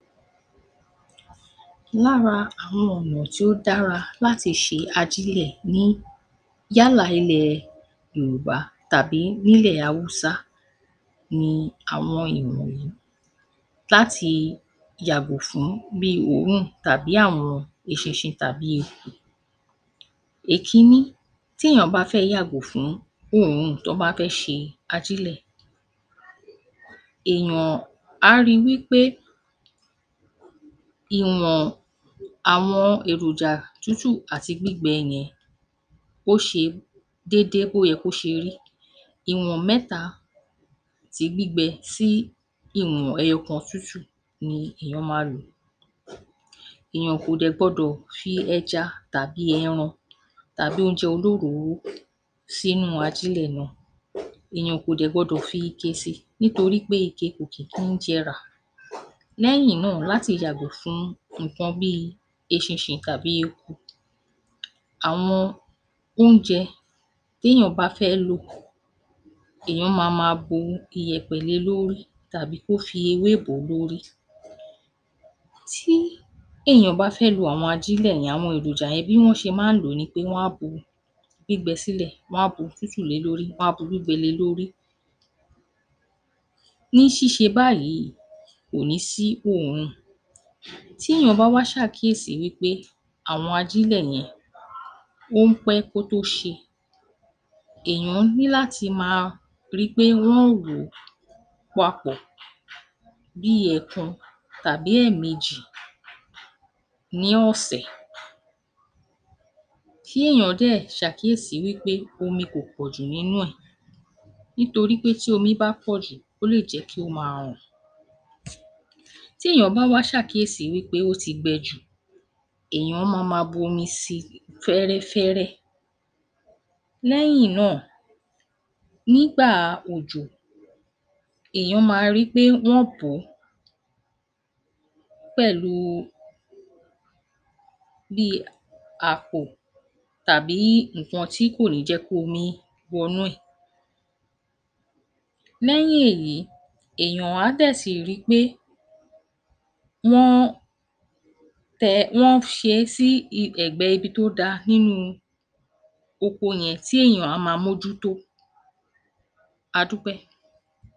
Lára àwọn ọ̀nà tí ó dára láti ṣe ajílẹ̀ ní yálà ilẹ̀ Yorùbá tàbí ní ilẹ̀ Awúsá ni àwọn ìwọ̀nyí láti yàgò fún bíi òórùn tàbí àwọn eṣinṣin tàbí eku. Èkíní, tí eèyàn bá fẹ́ yàgò fún òórùn tọ́n bá fẹ́ ṣe ajílẹ̀, eèyàn a ri wí pé ìwọ̀n àwọn èròjà tútù àti gbígbẹ yẹn ó ṣe dédé bó yẹ kó ṣe rí, ìwọn mẹ́ta ti gbígbẹ sí ìwọn ẹyọ̀kan tútù ni eèyàn ma lò, eèyàn kò dẹ̀ gbọdọ̀ fi ẹja tàbí ẹran tàbí oúnjẹ olóròórò sínú ajílẹ̀ náà, eèyàn kò dẹ̀ gbọdọ̀ fi ike si nítorí pé ike kò tètè ń jẹrà. Lẹ́yìn náà èyàn ní láti yàgò fún nǹkan bí eṣinṣin tàbí eku. Àwọn oúnjẹ téyàn bá fẹ́ lò, èyàn ma máa bu ìyẹ̀pẹ̀ le lóri tàbí kí ó fi ewé bò ó lórí. Tí èyàn bá fẹ́ lo àwọn ajílẹ̀ yẹn, àwọn èròjà yẹn, bí wọ́n ṣe máa ń lò ó ni pé wọ́n á bu gbígbẹ sílẹ wọ́n a bu tútù le lórí wọ́n á bu gbígbẹ le lórí. Ní ṣíse báyìíì kò ní sí òórùn. Tí èyàn bá wá ṣàkíyèsí wí pé àwọn ajílẹ̀ yẹn ó ń pẹ́ kó tó ṣe, èyàn ní láti máa ri pé wọ́n ń wò ó papọ̀ bí i ẹ̀ẹ̀kan tàbí ẹ̀ẹ̀mejì ní ọ̀sẹ̀, kí èyàn dẹ̀ ṣàkíyèsí wí pé omi kò pọ̀ jù nínú ẹ, nítorí pé tí omi bá pọ̀ jù ó lè jẹ́ kí ó máa rùn. Tí èyàn bá wá ṣàkíyèsí pé ó ti gbẹ jù, èyàn ma máa bu omi si fẹ́rẹ́fẹ́rẹ́. Lẹ́yìn náà, nígbà òjò, ẹ̀yàn ma ri pé wọ́n bò ó pẹ̀lú bí i àpò tàbí nǹkan tí kò ní jẹ́ kómi wọ nú ẹ̀. Lẹ́yìn èyí, eèyàn á dẹ̀ ti ri pe wọ́n tẹ, wọ́n ṣe é sí ẹ̀gbẹ́ ibi tó da nínú oko yẹn tí eèyàn á máa mójútó. Adúpẹ́.